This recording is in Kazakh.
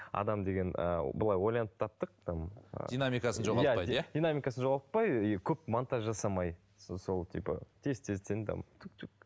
адам деген ыыы былай ойланып таптық там ыыы динамикасын жоғалтпайды иә динамикасын жоғалтпай и көп монтаж жасамай сол типа тез тезден там